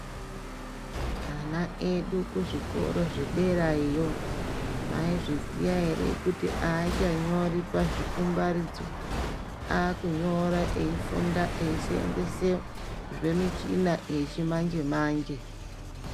Ana edu kuzvikoro zvekudera iyiyo maizviziya here kuti ava chanyori parikumbaridzo avakunyora eyifunda eyiseenzesa zvemuchina yechimanje manje .